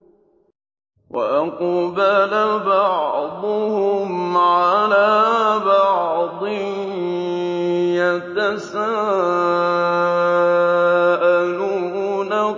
وَأَقْبَلَ بَعْضُهُمْ عَلَىٰ بَعْضٍ يَتَسَاءَلُونَ